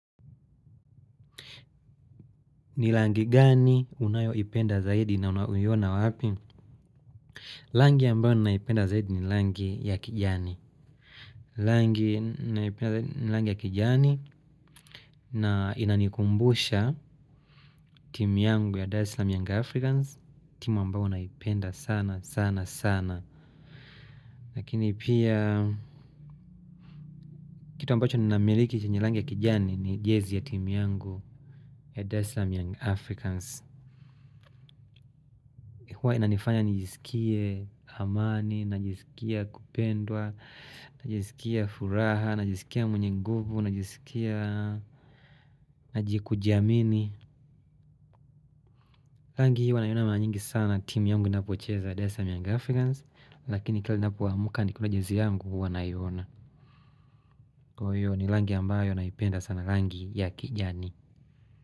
Ni rangi gani unayoipenda zaidi na unaiona wapi? Rangi ambayo naipenda zaidi ni rangi ya kijani. Rangi naipenda zaidi ni rangi ya kijani na inanikumbusha timu yangu ya Dar es Salaam Young Africans. Timu ambayo naipenda sana sana sana. Lakini pia kitu ambacho ni namiliki chenye rangi ya kijani ni jezi ya timu yangu ya Dar es salaam Young Africans. Huwa inanifanya nijisikie amani, najisikia kupendwa, najisikia furaha, najisikia mwenye nguvu, nijisikia kujiamini. Rangi hii hwa nauiona mara nyingi sana timu yangu inapocheza ya dar es salaam young africans, lakini kila ninapoamuka nikiona jezi yangu huwa naiona. Kwa hiyo ni rangi ambayo naipenda sana lrangi ya kijani.